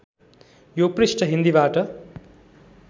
यो पृष्ठ हिन्दीबाट